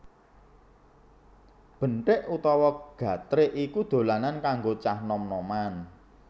Benthik utawa gatrik iku dolanan kanggo cah nom noman